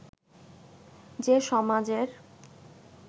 যে সমাজের